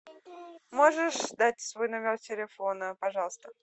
можешь дать свой номер телефона пожалуйста